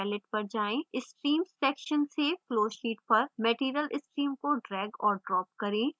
streams section से flowsheet पर material stream को drag और drop करें